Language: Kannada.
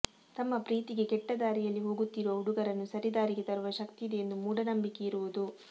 ತಮ್ಮ ಪ್ರೀತಿಗೆ ಕೆಟ್ಟ ದಾರಿಯಲಿ ಹೋಗುತ್ತಿರುವ ಹುಡುಗರನ್ನು ಸರಿ ದಾರಿಗೆ ತರುವ ಶಕ್ತಿ ಇದೆ ಎಂಬ ಮೂಢನಂಬಿಕೆ ಇರುವುದು